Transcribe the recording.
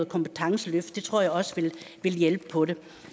kompetenceløft det tror jeg også vil hjælpe på det